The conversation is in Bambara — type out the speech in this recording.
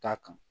Da kan